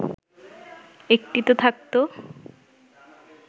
একটিতে থাকতো